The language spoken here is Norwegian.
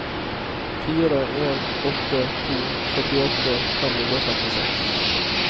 fire en åtte to førtiåtte fem hundre og femtiseks